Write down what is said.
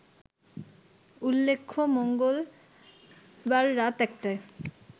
উল্লেখ্য মঙ্গলবার রাত ১টায়